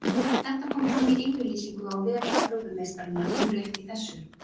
Þetta kom fram í yfirlýsingu á vef Evrópumeistaranna nú rétt í þessu.